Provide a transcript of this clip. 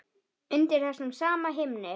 Undir þessum sama himni.